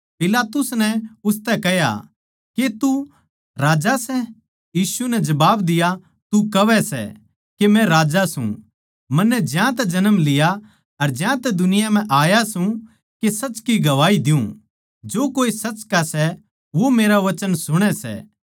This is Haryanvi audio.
पिलातुस नै उसतै कह्या के तू राजा सै यीशु नै जबाब दिया तू कहवै सै के मै राजा सूं मन्नै ज्यांतै जन्म लिया अर ज्यांतै दुनिया म्ह आया सूं के सच की गवाही दियुँ जो कोए सच का सै वो मेरा वचन सुणै सै